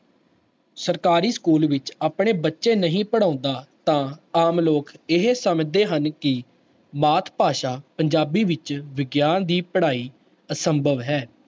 ਸਰਕਾਰੀ school ਵਿੱਚ ਆਪਣੇ ਬੱਚੇ ਨਹੀਂ ਪੜ੍ਹਾਉਂਦਾ ਤਾਂ ਆਮ ਲੋਕ ਇਹ ਸਮਝਦੇ ਹਨ ਕਿ ਮਾਤ ਭਾਸ਼ਾ ਪੰਜਾਬੀ ਵਿੱਚ ਵਿਗਿਆਨ ਦੀ ਪੜ੍ਹਾਈ ਅਸੰਭਵ ਹੈ।